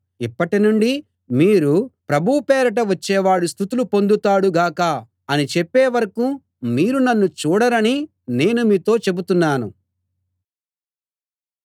ఇప్పటి నుండి మీరు ప్రభువు పేరిట వచ్చేవాడు స్తుతులు పొందుతాడు గాక అని చెప్పే వరకూ మీరు నన్ను చూడరని నేను మీతో చెబుతున్నాను